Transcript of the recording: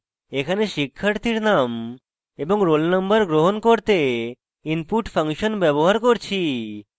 এখানে শিক্ষার্থীর name এবং roll নম্বর গ্রহণ করতে input ফাংশন ব্যবহার করছি